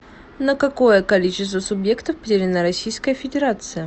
на какое количество субъектов поделена российская федерация